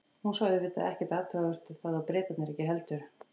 Hún sá auðvitað ekkert athugavert við það og Bretarnir ekki heldur.